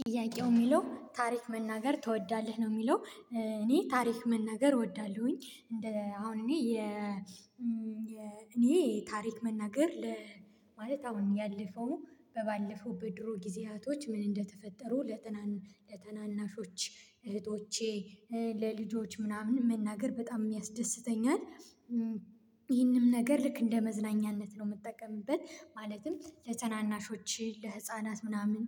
ጥያቄው የሚለው ታሪክ መናገር ትወዳለህ ነው የሚለው? እኔ ታሪክ መናገር እወዳለሁኝ እንደ አሁን እኔ የ እኔ ታሪክ መናገር ለ ማለት አሁን ያለፈው ባለፈው በድሮ ጊዜያቶች ምን እንደተፈጠሩ ለተናናሾች እህቶቼ ለልጆች ምናምን መናገር በጣም የሚያስደስተኛል። ይህንም ነገር ልክ እንደ መዝናኛነት ነው የምጠቀምበት ማለትም ለተናናሾችህ ለህፃናት ምናምን